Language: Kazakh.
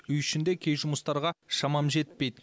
үй ішінде кей жұмыстарға шамам жетпейді